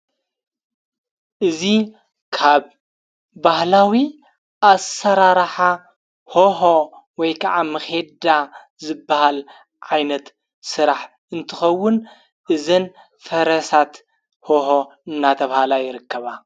እዙ ካብ ባህላዊ ኣሠራራሓ ሄሁ ወይ ከዓ ምኼዳ ዘበሃል ዓይነት ሥራሕ እንትኸውን እዘን ፈረሳት ሁሀ እናተብሃላ የረከባ።